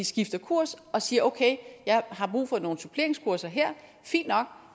skifter kurs og siger okay jeg har brug for nogle suppleringskurser her fint nok